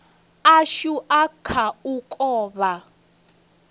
ashu a kha u kovha